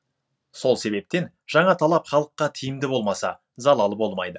сол себептен жаңа талап халыққа тиімді болмаса залалы болмайды